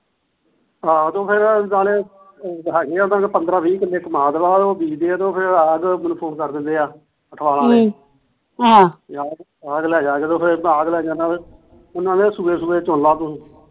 ਆਹ ਫਿਰ ਉਹ ਨਾਲ ਪੰਦਰਾ ਵੀਹ ਕੀਤੇ ਬ ਉਹ ਕਰ ਦਿੰਦੇ ਆ ਆਘ ਲੈ ਜਾਂਦੇ ਉਹ ਸੂਹੇ ਸੂਹੇ ਚੁਗ ਲਾ ਤੂੰ